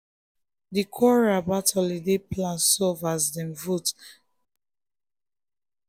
di quarrel about holiday plan solve as dem vote and the majority win.